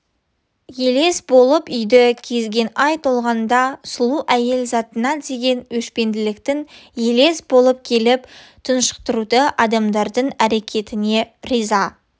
елес боп үйді кезген ай толғанда сұлу әйел затына деген өшпенділіктің елес болып келіп тұншықтыруы адамдардың әрекетіне риза